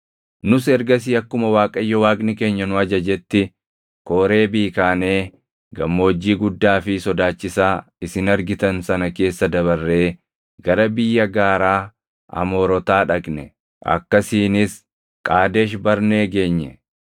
Nus ergasii akkuma Waaqayyo Waaqni keenya nu ajajetti Kooreebii kaanee gammoojjii guddaa fi sodaachisaa isin argitan sana keessa dabarree gara biyya gaaraa Amoorotaa dhaqne; akkasiinis Qaadesh Barnee geenye.